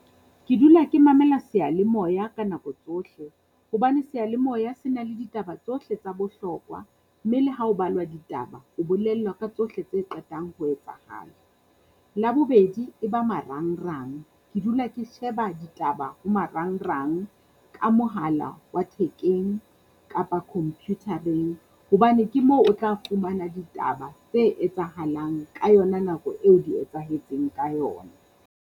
Ke dula ke mamela seyalemoya ka nako tsohle, hobane seyalemoya se na le ditaba tsohle tsa bohlokwa mme le ha ho balwa ditaba, o bolellwa ka tsohle tse qetang ho etsahala. Labobedi e ba marangrang. Ke dula ke sheba ditaba ho marangrang ka mohala wa thekeng kapa computer-eng, hobane ke mo o tla fumana ditaba tse etsahalang ka yona nako eo di etsahetseng ka yona.